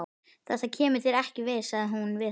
Þetta kemur þér ekki við, sagði hún við hann.